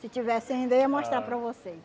Se tivesse ainda eu ia mostrar para vocês.